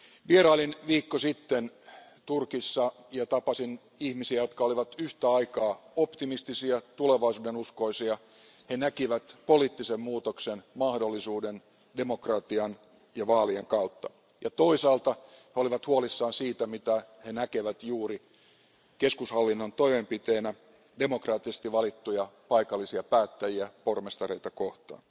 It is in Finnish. Vierailin viikko sitten Turkissa ja tapasin ihmisiä, jotka olivat yhtä aikaa optimistisia, tulevaisuudenuskoisia, he näkivät poliittisen muutoksen mahdollisuuden demokratian ja vaalien kautta ja toisaalta olivat huolissaan siitä, mitä he näkevät juuri keskushallinnon toimenpiteenä demokraattisesti valittuja paikallisia päättäjiä, pormestareita kohtaan.